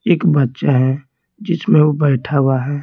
एक बच्चा है जिसमें वो बैठा हुआ है।